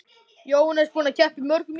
Jóhannes: Búinn að keppa í mörgum íþróttum?